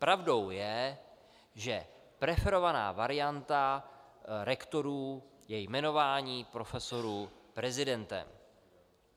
Pravdou je, že preferovaná varianta rektorů je jmenování profesorů prezidentem.